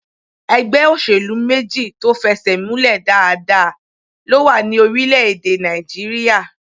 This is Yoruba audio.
Ẹgbẹ́ òṣèlú méjì tó fẹsẹ̀múlẹ̀ dáadáa ló wà ní orílẹ̀-èdè Nàìjíríyà